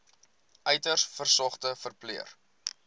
uiters gesogde verpleër